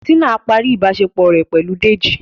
Tina parí ìbáṣepọ̀ rẹ pẹlú Dèjì.